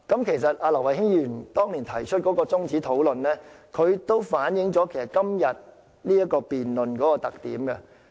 其實，劉慧卿議員當年提出中止討論，亦反映今天這項辯論的特點。